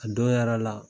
A don yɛrɛ la